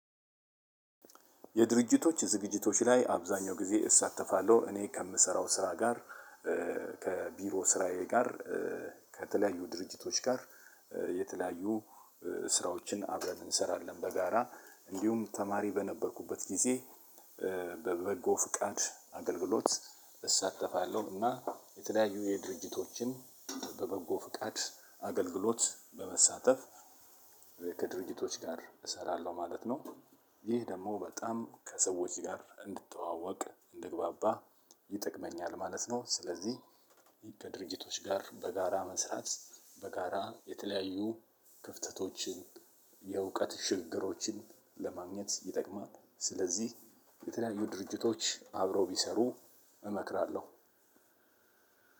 የድርጅቶች ዝግጅቶች ላይ አብዛኛው ጊዜ እሳተፋለሁ እኔ ከምሰራው ስራ ጋር ከቢሮ ስራዬ ጋር ከተለያዩ ድርጅቶች ጋር የተለያዩ ስራዎችን አብረን እንሰራለን በጋራ እንዲሁም ተማሪ በነበርኩበት ጊዜ በበጎ ፍቃድ አገልግሎት እሳተፋለሁ እና የተለያዩ የድርጅቶችን በበጎ ፍቃድ አገልግሎት በመሳተፍ ከድርጅቶች ጋር እሰራለሁ ማለት ነው። ይህ ደግሞ በጣም ከሰዎች ጋር እንድተዋወቅ እንድግባባ ይጠቅመኛል ማለት ነው። ስለዚህ ከድርጅቶች ጋር በጋራ መስራት በጋራ የተለያዩ ክፍተቶችን የእውቀት ሽግግሮችን ለማግኘት ይጠቅማል ስለዚህ የተለያዩ ድርጅቶች አብረው ቢሰሩ እመክራለሁ።